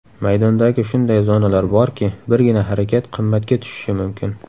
Maydondagi shunday zonalar borki, birgina harakat qimmatga tushishi mumkin.